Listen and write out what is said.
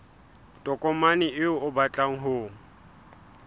tokomane eo o batlang ho